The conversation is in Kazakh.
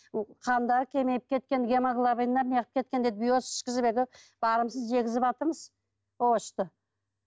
қандары кеміп кеткен гемоглобиндері неғып кеткен дейді биос ішкізіп әйтеуір барымызды жегізіватырмыз овощты